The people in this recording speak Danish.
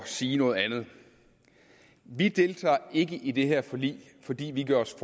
sige noget andet vi deltager ikke i det her forlig fordi vi gør os